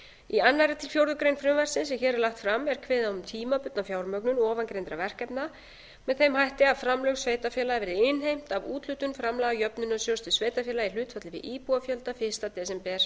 í öðrum til fjórðu grein frumvarpsins sem hér er lagt fram er kveðið á um tímabundna fjármögnun ofangreindra verkefna með þeim hætti að framlög sveitarfélaga verði innheimt af úthlutun framlaga jöfnunarsjóðs til sveitarfélaga í hlutfalli við íbúafjölda fyrsta desember